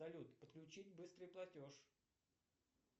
салют подключить быстрый платеж